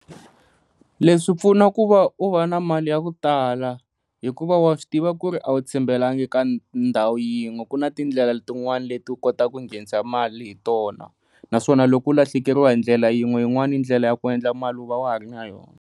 Leswi swi pfuna ku va u va na mali ya ku tala hikuva wa swi tiva ku ri a wu tshembekanga ka ndhawu yin'we ku na tindlela tin'wani leti u kotaka ku nghenisa mali hi tona, naswona loku lahlekeriwa hi ndlela yin'we yin'wani ndlela ya ku endla mali u va wa ha ri na yona.